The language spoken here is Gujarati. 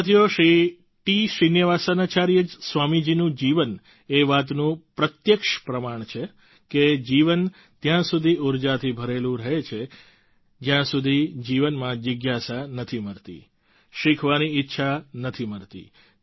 સાથીઓ શ્રી ટી શ્રીનિવાસાચાર્ય સ્વામી જીનું જીવન એ વાતનું પ્રત્યક્ષ પ્રમાણ છે કે જીવન ત્યાં સુધી ઉર્જાથી ભરેલું રહે છે જ્યાં સુધી જીવનમાં જિજ્ઞાસા નથી મરતી શીખવાની ઈચ્છા નથી મરતી